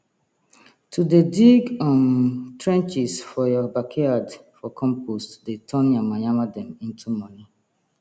to dey dig um trenches for your backyard for compost dey turn yamayama dem into money